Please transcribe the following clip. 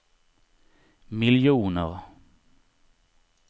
miljoner